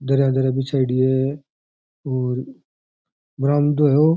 दरिया दरिया बिछाएडी है और बरामदों है यो।